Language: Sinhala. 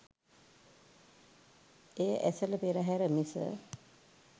එය ඇසළ පෙරහර මිස